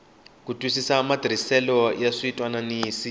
ku twisisa matirhisele ya switwananisi